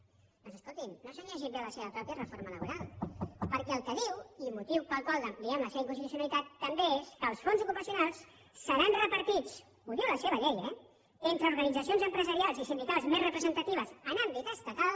doncs escolti’m no s’han llegit bé la seva mateixa reforma laboral perquè el que diu i motiu pel qual n’ampliem la seva inconstitucionalitat també és que els fons ocupacionals seran repartits ho diu la seva llei eh entre organitzacions empresarials i sindicals més representatives en àmbit estatal